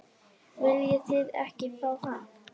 Viljið þið ekki fá hann?